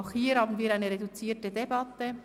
Auch hier führen wir eine reduzierte Debatte.